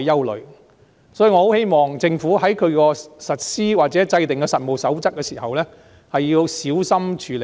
因此，我希望政府在實施或制訂實務守則時要小心處理。